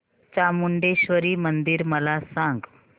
चामुंडेश्वरी मंदिर मला सांग